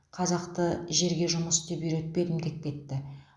қазақты жерге жұмыс істеп үйретпедім деп кетті